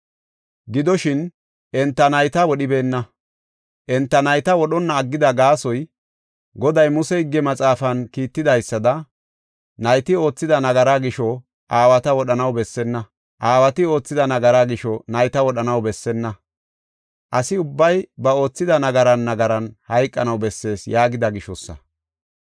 Gidoshin, enta nayta wodhibeenna. Enta nayta wodhonna aggida gaasoy, Goday, Muse higge maxaafan kiittidaysada, “Nayti oothida nagaraa gisho aawata wodhanaw bessenna; aawati oothida nagaraa gisho nayta wodhanaw bessenna. Asi ubbay ba oothida nagaran nagaran hayqanaw bessees” yaagida gishosa.